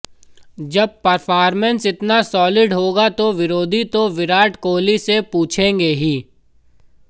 जब परफॉर्मेन्स इतना सॉलिड होगा तो विरोधी तो विराट कोहली से पूछेंगे ही